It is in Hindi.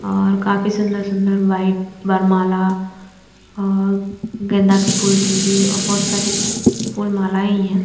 र काफी सुंदर सुंदर व्हाईट वरमाला और गेंदा के फूल के भी बोहोत सारी फूल माला ही है।